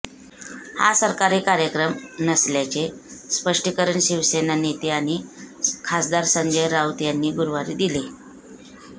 हा सरकारी कार्यक्रम नसल्याचे स्पष्टीकरण शिवसेना नेते आणि खासदार संजय राऊत यांनी गुरुवारी दिले